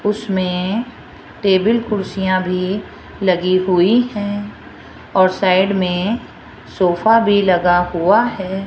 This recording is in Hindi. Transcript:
उसमें टेबल कुर्सियां भी लगी हुई हैं और साइड में सोफा भी लगा हुआ है।